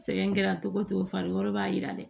Sɛgɛn kɛra cogo cogo farikolo b'a yira dɛ